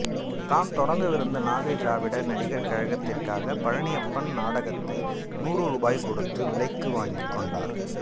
தாம் தொடங்கவிருந்த நாகை திராவிட நடிகா் கழகத்திற்காக பழனியப்பன் நாடகத்தை நுாறு ரூபாய் கொடுத்து விலைக்கு வாங்கிக் கொண்டாா்